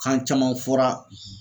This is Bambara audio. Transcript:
Kan caman fɔra